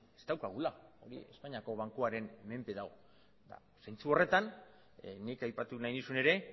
ez daukagula hori espainiako bankuaren menpe dago eta zentzu horretan nik aipatu nahi nizun ere